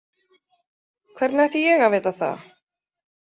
Hvernig ætti ég að vita það?